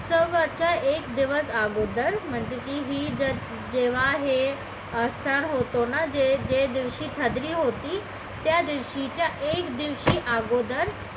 वरचा एक दिवस अगोदर म्हणजे की हे जर जेव्हा हे असं होतं ना जे जे दिवशी त्यादिवशी च्या एक दिवशी अगोदर